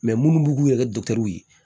munnu b'u k'u yɛrɛ